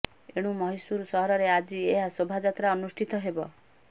ଏଣୁ ମହୀଶୂର ସହରରେ ଆଜି ଏହା ଶୋଭାଯାତ୍ରା ଅନୁଷ୍ଠିତ ହେବ